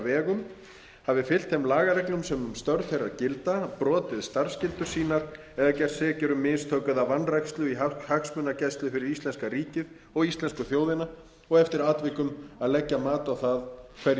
vegum hafi fylgt þeim lagareglum sem um störf þeirra gilda brotið starfsskyldur sínar eða gerst sekir um mistök eða vanrækslu í hagsmunagæslu fyrir íslenska ríkið og íslensku þjóðina og eftir atvikum leggja mat á hverjir beri